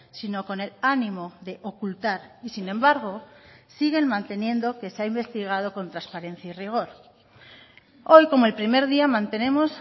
sino con el ánimo de ocultar y sin embargo siguen manteniendo que se ha investigado con trasparencia y rigor hoy como el primer día mantenemos